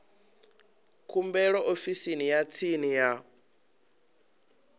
khumbelo ofisini ya tsini ya